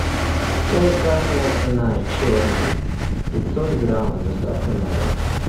чай красная цена черный пятьсот грамм с доставкой на дом